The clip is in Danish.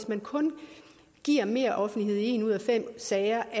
man kun giver meroffentlighed i en ud af fem sager